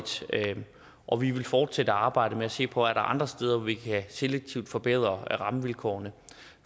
og vi vil fortsætte arbejdet med at se på er andre steder hvor vi selektivt kan forbedre rammevilkårene